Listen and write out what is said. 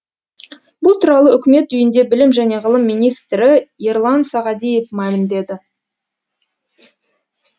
бұл туралы үкімет үйінде білім және ғылым министрі ерлан сағадиев мәлімдеді